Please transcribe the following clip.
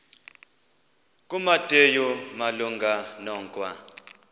kumateyu malunga nokwa